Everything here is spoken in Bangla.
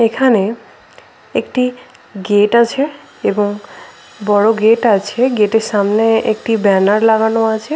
এখানে একটি গেট আছে এবং বড় গেট আছে গেটের সামনে একটি ব্যানার লাগানো আছে।